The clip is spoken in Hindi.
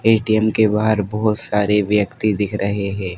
ए_टी_एम के बाहर बहोत सारे व्यक्ति दिख रहे हैं।